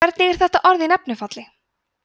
hvernig er þetta orð í nefnifalli